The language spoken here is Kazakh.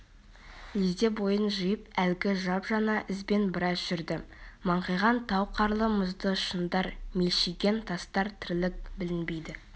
лезде бойын жиып әлгі жап-жаңа ізбен біраз жүрді маңқиған тау қарлы-мұзды шыңдар мелшиген тастар тірлік білінбейді